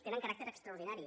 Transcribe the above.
tenen caràcter extraordinari